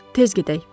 Tez gedək.